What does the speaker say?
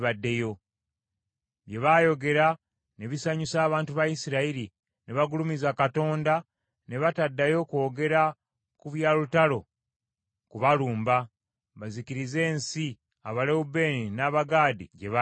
Bye baayogera ne bisanyusa abantu ba Isirayiri ne bagulumiza Katonda ne bataddayo kwogera ku bya lutalo kubalumba, bazikirize ensi Abalewubeeni, n’Abagaadi gye baali basenze.